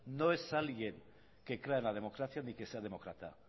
no es alguien que crea en la democracia ni que sea demócrata